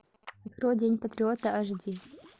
открой день патриота аш ди